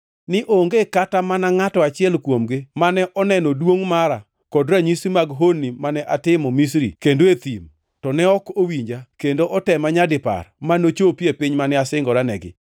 ni onge kata mana ngʼato achiel kuomgi mane oneno duongʼ mara kod ranyisi mag honni mane atimo Misri kendo e thim, to ne ok owinja kendo otema nyadipar; ma nochopi e piny mane asingonegi.